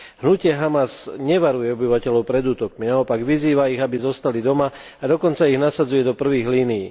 Hnutie Hamas nevaruje obyvateľov pred útokmi, naopak, vyzýva ich, aby zostali doma a dokonca ich dosadzuje do prvých línii.